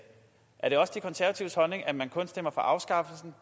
er det også de konservatives holdning at man kun stemmer for afskaffelsen